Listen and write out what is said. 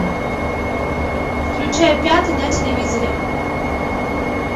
включай пятый на телевизоре